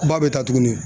Ba bɛ taa tuguni